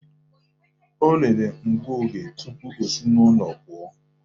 O lelere ngụoge tupu o si n'ụlọ pụọ